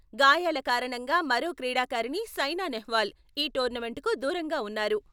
గాయాల కారణంగా మరో క్రీడికారిణి సైనా నెహ్వాల్ ఈ టోర్నమెంట్కు దూరంగా వున్నారు.